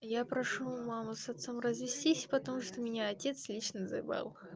я прошу маму с отцом развестись потому что меня отец лично заебал